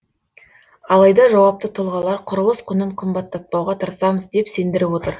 алайда жауапты тұлғалар құрылыс құнын қымбаттатпауға тырысамыз деп сендіріп отыр